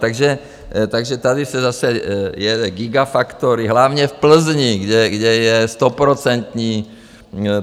Takže tady se zase jede gigafactory hlavně v Plzni, kde je stoprocentní...